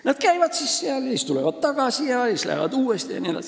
Nad käivad seal, tulevad tagasi, lähevad siis uuesti jne.